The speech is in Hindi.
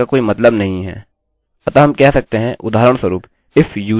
अतः हम कह सकते हैं उदाहरणस्वरूप if username and password